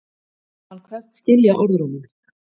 Hann kveðst skilja orðróminn